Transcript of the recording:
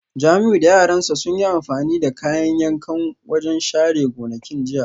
Jamiu da yaran sa sun yi amfani da kayan yankan wajen share gonakin jiya